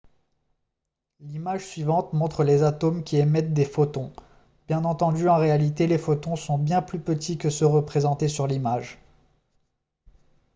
l'image suivante montre les atomes qui émettent des photons bien entendu en réalité les photons sont bien plus petits que ceux représentés sur l'image